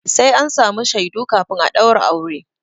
Sai an samu shaidu kafin a ɗaura aure.